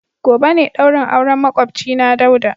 Gobe ne daurin auren makwabcina Dauda.